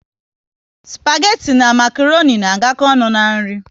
spageti na makroni na agako ọnụ n'nri